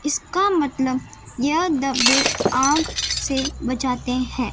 इसका मतलब यह डब्बे आग से बचाते हैं।